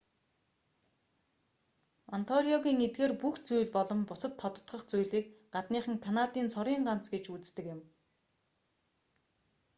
онтариогын эдгээр бүх зүйл болон бусад тодотгох зүйлийг гадныхан канадын цорын ганц гэж үздэг юм